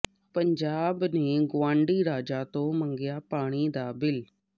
ਪੰਜਾਬ ਨੇ ਗਵਾਂਢੀ ਰਾਜਾਂ ਤੋਂ ਮੰਗਿਆ ਪਾਣੀ ਦਾ ਬਿੱਲ